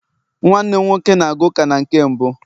nwannem nwoke na-aga uka na nke mbu